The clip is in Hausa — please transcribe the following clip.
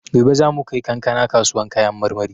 Gobe za mu kai kankana kasuwan kayan marmari.